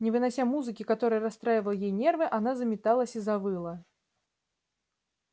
не вынося музыки которая расстраивала ей нервы она заметалась и завыла